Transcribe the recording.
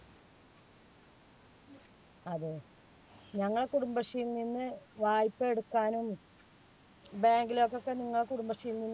അതെ. ഞങ്ങൾ കുടുംബശ്രീയിൽ നിന്ന് വായ്പ എടുക്കാനും bank ലൊക്കെ പെണ്ണുങ്ങള് കുടുംബശ്രീയിൽ നിന്ന്